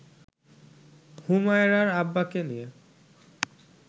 হুমায়রার আব্বাকে নিয়ে